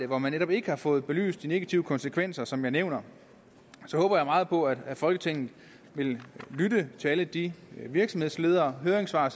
hvor man netop ikke har fået belyst de negative konsekvenser som jeg nævner håber jeg meget på at folketinget vil lytte til de virksomhedsledere høringssvar